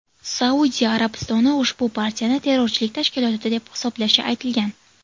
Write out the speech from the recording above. Saudiya Arabistoni ushbu partiyani terrorchilik tashkiloti deb hisoblashi aytilgan.